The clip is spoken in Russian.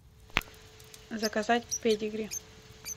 заказать педигри